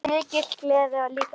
Mikil gleði og líka sorgir.